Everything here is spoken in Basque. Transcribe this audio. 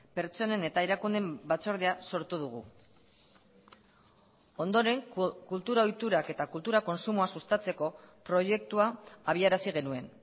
pertsonen eta erakundeen batzordea sortu dugu ondoren kultura ohiturak eta kultura kontsumoa sustatzeko proiektua abiarazi genuen